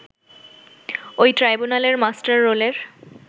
ওই ট্রাইব্যুনালের মাস্টাররোলের